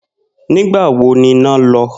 Nígbà wo ni iná lo̩?